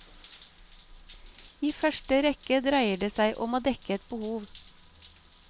I første rekke dreier det seg om å dekke ett behov.